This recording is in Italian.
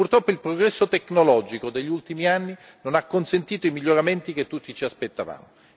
Purtroppo il progresso tecnologico degli ultimi anni non ha consentito i miglioramenti che tutti ci aspettavamo.